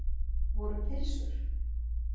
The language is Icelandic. Voru pylsur?